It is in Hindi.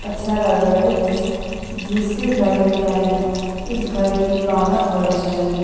अच्छा लग रहा है ये जिस जिसके घर में जाएंगे उस घर की रौनक बढ़ जाएगी।